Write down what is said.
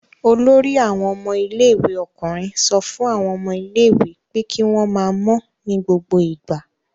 Olórí àwọn ọmọ ilé-ìwé ọkùnrin sọ fún àwọn ọmọ ilé-ìwé kí wọ́n máa mọ́ ní gbogbo ìgbà.